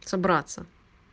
собраться